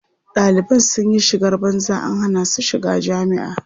Ɗaliban sun yi shigar banza an hana su shiga jami'a.